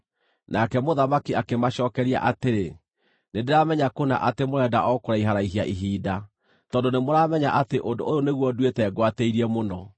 Nake mũthamaki akĩmacookeria atĩrĩ, “Nĩndĩramenya kũna atĩ mũrenda o kũraiharaihia ihinda, tondũ nĩmũramenya atĩ ũndũ ũyũ nĩguo nduĩte ngwatĩirie mũno: